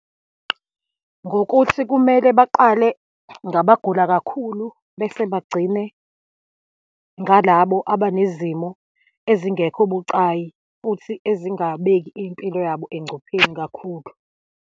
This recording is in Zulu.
Ngokuthi kumele baqale ngabagula kakhulu, bese bagcine ngalabo abanezimo ezingekho bucayi, futhi ezigabeki impilo yabo engcupheni kakhulu.